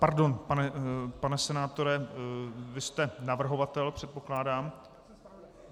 Pardon, pane senátore, vy jste navrhovatel, předpokládám?